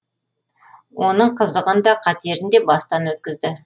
оның қызығын да қатерін де бастан өткізді